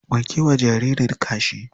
Wanke wa jaririn kashi.